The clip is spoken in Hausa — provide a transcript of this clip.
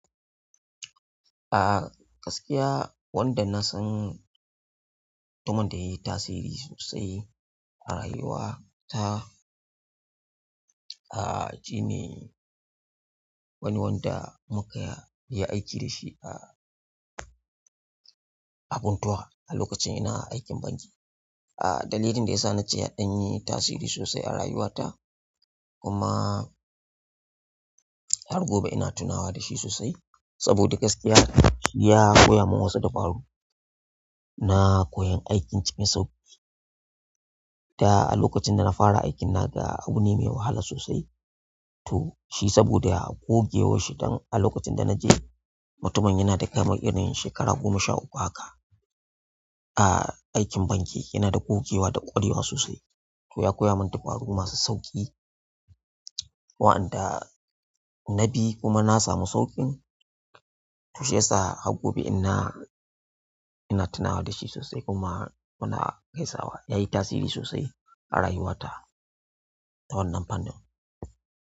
Ah gaskiya wanda na san mutumin da yayi tasiri sosai a rayuwa ta, ah shine wani wanda muka yi aiki da shi a, a funtuwa a lokacin ina aikin banki. Ah dalilin da ya sa na ce yaɗan yi tasiri sosai a rayuwa ta kuma har gobe ina tunawa da shi sosai, saboda gaskiya shi ya koya min wasu takwaru na koyan aikin cikin sauƙi. Da a lokacin da na fara aikin naga abu ne mai wahala sosai, to shi saboda gogewar shi dan a lokacin da na je mutumin yana da kamar yanayin shekara goma sha uku haka. Ah aikin banki yana da gogewa da ƙwarewa sosai to ya koya min dabaru masu sauƙi waɗanda na bi kuma na samu sauƙin, toh shiyasa har gobe ina, ina tunawa da shi sosai kuma muna gasaiwa. Ya yi tasiri sosai a rayuwa ta ta wannan fanin.